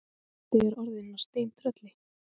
Doddi er orðinn að steintrölli.